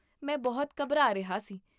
ਮੈਂ ਬਹੁਤ ਘਬਰਾ ਰਿਹਾ ਸੀ